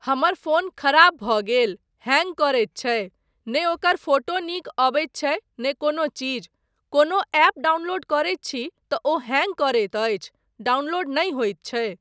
हमर फोन खराब भऽ गेल, हैंग करैत छै, नहि ओकर फोटो नीक अबैत छै, नहि कोनो चीज। कोनो ऍप डाउनलोड करैत छी तँ ओ हैंग करैत अछि, डाउनलोड नहि होइत छै।